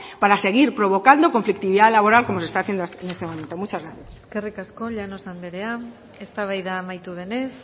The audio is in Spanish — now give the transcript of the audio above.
para seguir provocando conflictividad laboral como se está haciendo en este momento muchas gracias eskerrik asko llanos anderea eztabaida amaitu denez